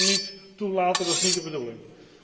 Dat kunnen wij niet toelaten, dat is niet de bedoeling.